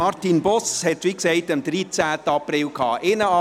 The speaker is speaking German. Martin Boss hatte wie gesagt am 13. April Geburtstag.